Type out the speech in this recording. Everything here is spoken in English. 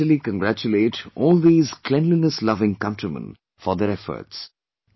I heartily congratulate all these cleanlinessloving countrymen for their efforts